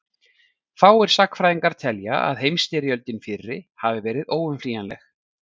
fáir sagnfræðingar telja að heimsstyrjöldin fyrri hafi verið óumflýjanleg